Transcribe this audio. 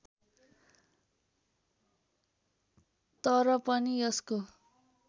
तर पनि यसको